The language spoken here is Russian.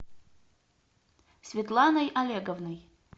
светланой олеговной